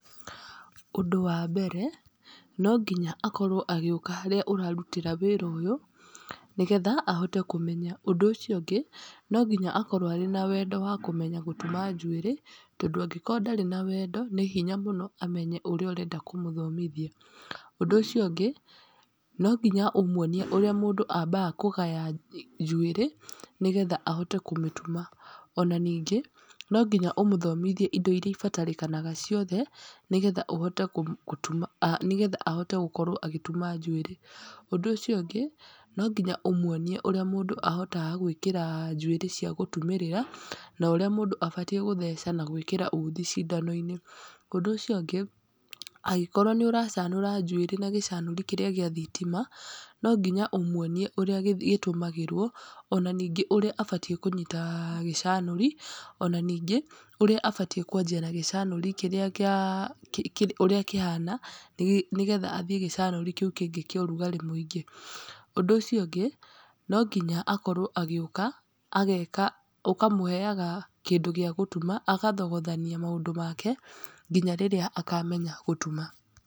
Ũndũ wambere, no nginya akorwo agĩũka harĩa ũrarutĩra wĩra ũyũ, nĩgetha ahote kũmenya, ũndũ ũcio ũngĩ, no nginya akorwo arĩ na wendo wa kũmenya gũtuma njuĩrĩ, tondũ angĩkorwo ndarĩ na wendo, nĩ hinya mũno amenye ũrĩa ũrenda kũmũthomithia. Ũndũ ũcio ũngĩ, no nginya ũmwonie ũrĩa mũndũ ambaga kũgaya njuĩrĩ, nĩgetha ahote kũmĩtuma, ona ningĩ, no nginya ũmũthomithie indo iria ibatarĩkanaga ciothe, nĩgetha ũhote gũtuma nĩgetha ahote gũkorwo agĩtuma njuĩrĩ, ũndũ ũcio ũngĩ, no nginya ũmwonie ũrĩa mũndũ ahotaga gwĩkĩra njuĩrĩ cia gũtumĩrĩra, na ũrĩa mũndũ abatie gũtheca na gwĩkĩra uthi cindano-inĩ, ũndũ ũcio ũngĩ, angĩkorwo nĩ ũracanũra njuĩrĩ na gĩcanũri kĩrĩa gĩa thitima, no nginya ũmwonie ũrĩa gĩtũmagĩrwo, ona ningĩ ũrĩa abatiĩ kũnyita gĩcanũri, ona ningĩ, ũrĩa abatie kwenjera gĩcanũri kĩrĩa kĩa ũrĩa kĩhana, nĩgetha athiĩ gĩcanũri kĩu kĩngĩ kĩa ũrugarĩ mũingĩ. Ũndũ ũcio ũngĩ no nginya akorwo agĩũka, ũkamũheaga kĩndũ gĩa gũtuma, agathogothania maũndũ make, nginya rĩrĩa akamenya gũtuma.